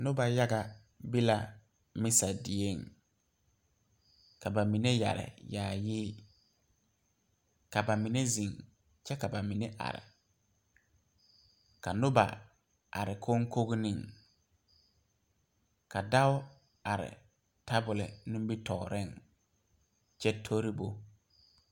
Noba yaga be la misa dieŋ ka ba mine yɛre yaayi ka ba mine zeŋ kyɛ ka ba mine are ka noba are koŋkogreŋ ka dao are tabol nimitɔɔreŋ kyɛ tori bo.